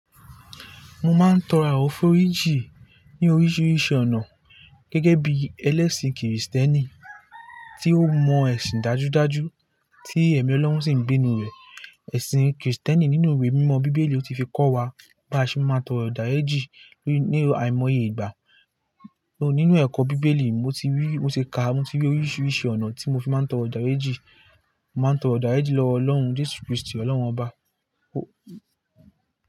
Mo máa ń tọrọ àforíjì ní oríṣiríṣi ọ̀nà gẹ́gẹ́ bí ẹlẹ́ṣin kìrìsìtẹ́nì tí ó mọ ẹṣin dájúdájú tí ẹ̀mí Ọlọ́run sì ń bé inú rẹ. Ẹ̀ṣin kìrìsìtẹ́nì nínú ìwé mímọ́ Bíbélì ó ti fi kọ́ wa bá ṣe máa tọrọ ìdáríjìn ní àìmoye ìgbà. Nínú ẹ̀kọ́ Bíbélì mo ti rí, mo ti ka, mo ti rí oríṣiríṣi ọ̀nà tí mo fi máa ń tọrọ ìdáríjì. Mo máa ń tọrọ ìdáríjì lọ́wọ́ Ọlọ́run Jésù Kristi Ọlọ́run ọba.